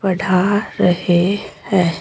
पढ़ा रहे हैं।